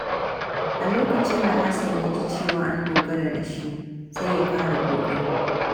A lokacin da Hassan ya ji cewa an dogara da shi, sai ya ƙara ƙoƙari.